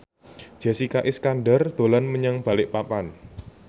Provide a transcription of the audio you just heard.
Jessica Iskandar dolan menyang Balikpapan